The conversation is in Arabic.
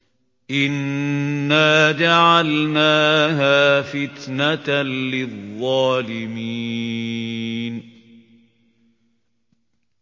إِنَّا جَعَلْنَاهَا فِتْنَةً لِّلظَّالِمِينَ